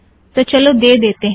तो चलो दे देतें हैं